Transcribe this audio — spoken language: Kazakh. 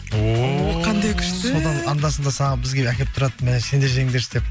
о қандай күшті содан анда санда бізге әкеліп тұрады мә сендер жеңдерші деп